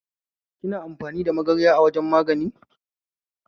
Kina amfani da magarya a wajan magani?